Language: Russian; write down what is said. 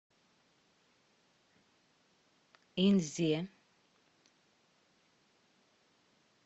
инзе